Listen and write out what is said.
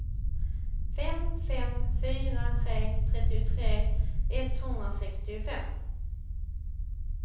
fem fem fyra tre trettiotre etthundrasextiofem